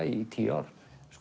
í tíu ár